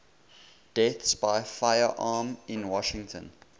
deaths by firearm in washington